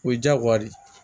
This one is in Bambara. O ye jagoya de ye